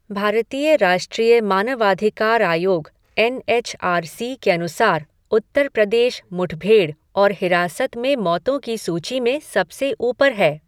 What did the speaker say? भारतीय राष्ट्रीय मानवाधिकार आयोग एन एच आर सी के अनुसार, उत्तर प्रदेश मुठभेड़ और हिरासत में मौतों की सूची में सबसे ऊपर है।